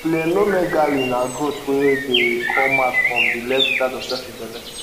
splenomegaly na growth wey dey come out from di left side of pesin belle